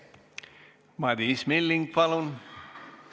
Madis Milling, palun!